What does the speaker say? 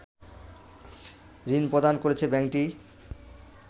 ঋণ প্রদান করেছে ব্যাংকটি